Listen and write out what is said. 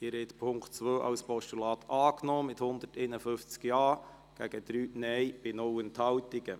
Sie haben den Punkt 2 mit 151 Ja- zu 3 Nein-Stimmen bei 0 Enthaltungen als Postulat angenommen.